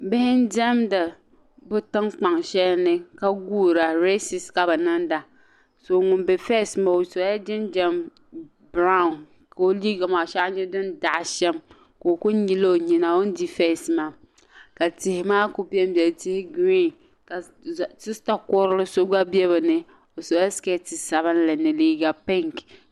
Bihi n demda bi tiŋ kpaŋ shɛli ni reese ka bi ninda ŋun di fest maa ɔdola jinjam branw, kaɔ liiga maa shee a nya din daɣi sham ka ɔku nyili ɔ nyina ɔ ni di fest maa ka tihi maa kuli ben beni tihi green ka soya kurili so gba be bɛni ɔ sɔla siketecsabinli ni liiga pink.